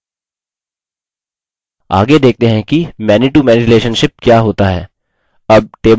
आगे देखते हैं कि manytomany relationship क्या होता है